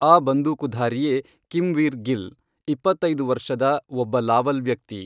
ಆ ಬಂದೂಕುಧಾರಿಯೇ ಕಿಮ್ವೀರ್ ಗಿಲ್, ಇಪ್ಪತ್ತೈದು ವರ್ಷದ ಒಬ್ಬ ಲಾವಲ್ ವ್ಯಕ್ತಿ.